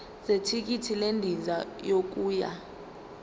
zethikithi lendiza yokuya